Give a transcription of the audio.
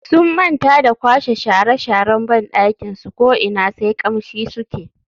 Sun manta da kwashe shara sharan bandakin su ko ina sai kamshi suke.